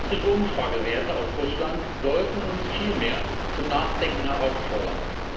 Gestrige Umfragewerte aus Russland sollten uns viel mehr zum Nachdenken herausfordern.